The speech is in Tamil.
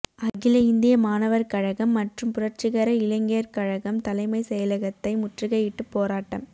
அகில இந்திய மாணவர் கழகம் மற்றும் புரட்சிகர இளைஞர் கழகம் தலைமை செயலகத்தை முற்றுகையிட்டு போராட்டம்